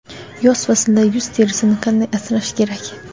Yoz faslida yuz terisini qanday asrash kerak?.